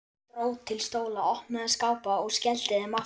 Dró til stóla, opnaði skápa og skellti þeim aftur.